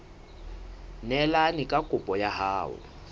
neelane ka kopo ya hao